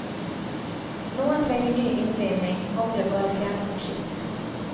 Noen trenger ny innbinding, andre bare fjerning av skitt.